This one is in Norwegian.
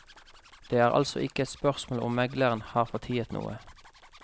Det er altså ikke et spørsmål om megleren har fortiet noe.